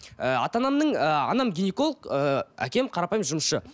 ыыы ата анамның ыыы анам гинеколог ыыы әкем қарапайым жұмысшы